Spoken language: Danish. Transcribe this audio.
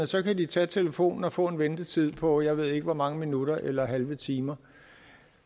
så kan de tage telefonen og få en ventetid på jeg ved ikke hvor mange minutter eller halve timer